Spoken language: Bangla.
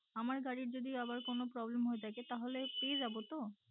আমার গাড়ির যদি আবার problem হয়ে থাকে তো পেয়ে যাবো তো?